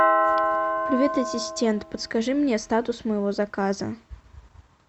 привет ассистент подскажи мне статус моего заказа